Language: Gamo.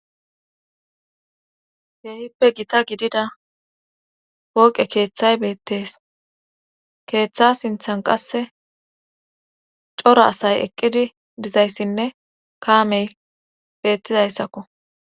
Keehippe gita gidida pooqe keeththay beettes keeththa sinthan qasse cora asay eqqidi dizayssinne kaamey beettizayssakko.